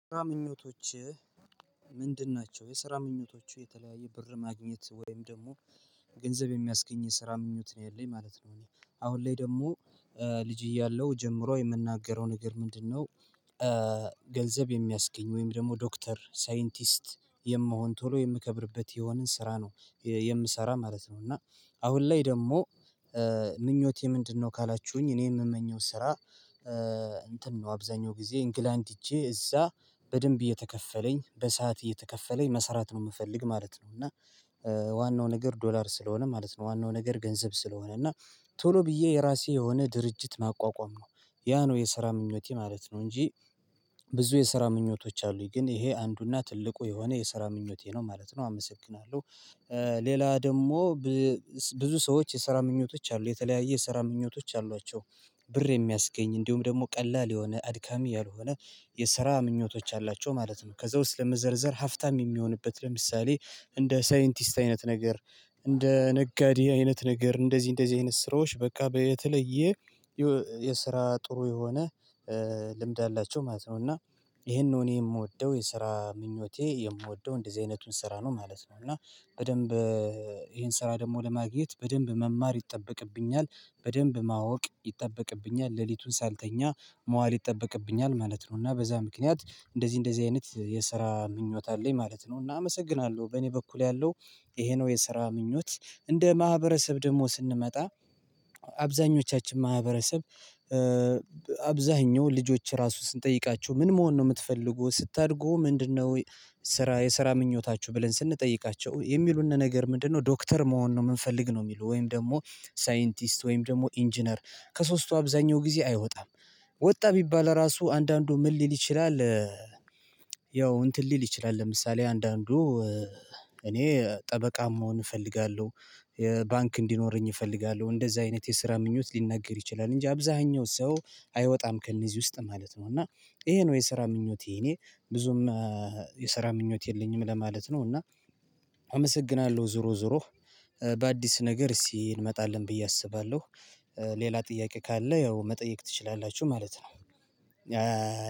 ስራ ምኞቶችህ ምንድን ናቸው? የስራ ምኞቶቹ የተለየየ ብር ማግኘት ወይም ደግሞ ገንዘብ የሚያስገኝ የስራ ምኞት ነው ያለኝ ማለት ነው እኔ አሁን ላይ ደግሞ ልጅ እያለሁ ጀምሮ የምናገረው ነገር ምንድነው ገንዘብ የሚያስገኝ ወይም ደግሞ ዶክተር ሳይንቲስት የምሆን ቶሎ የምከብርበት የሆነን ስራ ነው የምሰራ ማለት ነው እና አሁን ላይ ደግሞ ምኞቴ ምንድነው ካላችሁኝ እኔ የምመኘው ስራ እንትን ነው አብዛኛውን ጊዜ እንግላንድ ሄጄ እዛ በደንብ እየተከፈለኝ በሰአት እየተከፈለኝ መስራት ነው የምፈልግ ማለት ነው እና ዋናው ነገር ዶላር ስለሆነ ማለት ነው ዋናው ነገር ገንዘብ ስለሆነ እና ቶሎ ብዬ የራሴ የሆነ ድርጅት ማቋቋም ነው። ያ ነው የስራ ምኞቴ ማለት ነው እንጂ ብዙ የስራ ምኞቶች አሉኝ፣ ግን ይሄ አንዱና ትልቁ የሆነ የስራ ምኞቴ ነው ማለት ነው አመሰግናለሁ ሌላ ደግሞ ብዙ ሰዎች የስራ ምኞቶች አሉ የተለየዩ ስራ ምኞቶች አሏቸው። ብር የሚያስገኝ እንዲሁም ደግሞ ቀላል የሆነ አድካሚ ያልሆነ የስራ ምኞቶች አሏቸው ማለት ነው ከዛ ውስጥ ለመዘርዘር ሀብታም የሚሆንበት ለምሳሌ እንደ ሳይንቲስት አይነት ነገር እንደ ነጋዴ አይነት ነገር እንደዚህ እንደዚህ አይነት ስራዎች በቃ በተለየ የስራ ጥሩ የሆነ ልምድ አላቸው ማለት ነው። እና ይህን እኔ የምወደው የስራ ምኞቴ የምወደው እንደዚህ አይነቱን ስራ ነው ማለት ነው እና በደንብ ይህን ስራ ደግሞ ለማግኘት በደንብ መማር ይጠበቅብኛል፣ በደንብ ማወቅ ይጠበቅብኛል፣ ሌሊቱን ሳልተኛ መዋል ይጠበቅብኛል ማለት ነው። እና በዛ ምክንያት እንደዚህ እንደዚህ አይነት የስራ ምኞት አለኝ ማለት ነው እና አመሰግናለሁ በእኔ በኩል ያለው ይሄ ነው የስራ ምኞት እንደ ማህበረሰብ ደግሞ ስንመጣ አብዛኞቻችን ማህበረሰብ አብዛኛው ልጆች ራሱ ስንጠይቃቸው ምን መሆን ነው የምትፈልገው ስታድግ ምንድነው የስራ የስራ ምኞታችሁ ብለን ስንጠይቃቸው የሚሉን ነገር ምንድነው ዶክተር መሆን ነው የምንፈልግ ነው የሚሉ ወይም ደግሞ ሳይንቲስት ወይም ደግሞ ኢንጂነር ከሶስቱ አብዛኛው ጊዜ አይወጣም። ወጣ ቢባል ራሱ አንዳንዱ ምን ሊል ይችላል ያው እንትን ሊል ይችላል ለምሳሌ አንዳንዱ እኔ ጠበቃም መሆን እፈልጋለሁ የባንክ እንዲኖረኝ እፈልጋለሁ እንደዛ አይነት የስራ ምኞት ሊነገር ይችላል እንጂ አብዛኛው ሰው አይወጣም ከእነዚህ ውስጥ ማለት ነው እና ይሄ ነው የስራ ምኞቴ እኔ ብዙም የስራ ምኞት የለኝም ለማለት ነው እና አመሰግናለሁ ዞሮ ዞሮ በአዲስ ነገር እስቲ እንመጣለን ብዬ አስባለሁ። ሌላ ጥያቄ ካለ ያው መጠየቅ ትችላላችሁ ማለት ነው።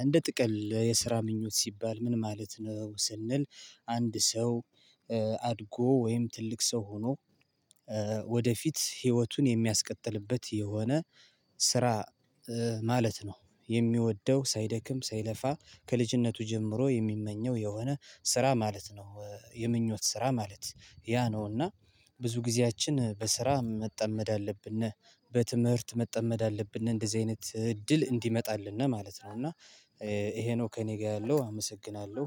እንደ ጥቅል የስራ ምኞት ሲባል ምን ማለት ነው ስንል አንድ ሰው አድጎ ወይም ትልቅ ሰው ሆኖ ወደፊት ህይወቱን የሚያስቀጥልበት የሆነ ስራ ማለት ነው የሚወደው ሳይደክም ሳይለፋ ከልጅነቱ ጀምሮ የሚመኘው የሆነ ስራ ማለት ነው። የምኞት ስራ ማለት ያ ነው እና ብዙ ጊዜያችንን በስራ መጠመድ አለብን ወይም በትምህርት መጠመድ አለብን እንደዚህ አይነት እድል እንዲመጣልን ማለት ነው እና ይሄ ነው ከእኔ ጋር ያለው አመሰግናለሁ።